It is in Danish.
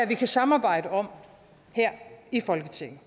vi kan samarbejde om her i folketinget